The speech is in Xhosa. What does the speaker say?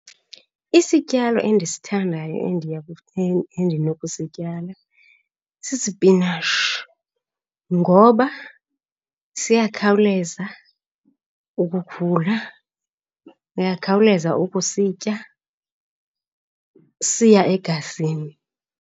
Isityalo endisithandayo endiya endinokusityala sisipinatshi ngoba siyakhawuleza ukukhula, uyakhawuleza ukusitya, siya egazini.